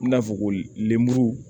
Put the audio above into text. I n'a fɔ ko lemuru